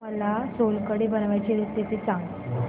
मला सोलकढी बनवायची रेसिपी सांग